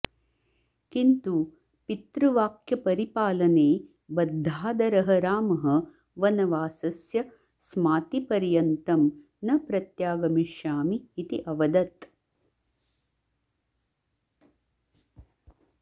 किन्तु पितृवाक्यपरिपालने बद्धादरः रामः वनवासस्य स्माप्तिपर्यन्तं न प्रत्यागमिष्यामि इति अवदत्